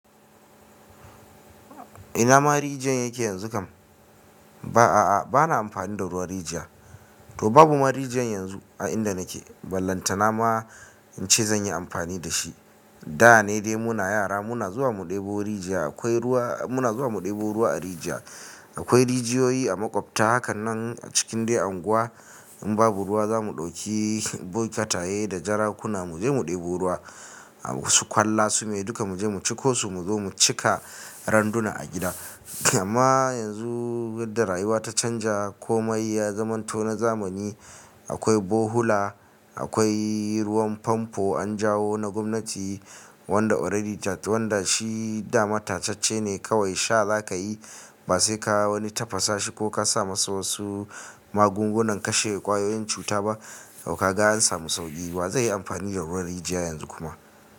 Ina ma rijiyan yake yanzu kam? Ba a, ba na amfani da ruwan rijiya. To babu ma rijiyan yanzu a inda nake, ballanta na ma in ce zan yi amfani da shi. Da ne dai mu na yara muna zuwa mu ɗebo rijiya. Akwai ruwa, muna zuwa mu ɗebo ruwa a rijiya. Akwai rijiyoyi a maƙwabta hakanan a cikin dai unguwa. In babu ruwa za mu ɗauki bokitaye da jarakuna mu je mu ɗebo ruwa. Wasu kwalla su mai duka mu je mu ciko su mu zo mu cika randuna a gida. Amma yanzu da rayuwa ta canja komai ya zamanto na zamani. Akwai bohula, akwai ruwan famfo an jawo na gwamnati wanda already wanda shi dama tatacce ne kawai sha za ka yi ba sai ka wani tafasa shi ko ka sa masa wasu magungunan kashe kwayoyin cuta ba dau kaga an samu sauƙi. Wa zai yi amfani da ruwan rijiya yanzu kuma.